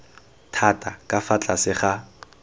thata ka fa tlase ga